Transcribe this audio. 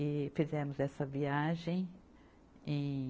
E fizemos essa viagem em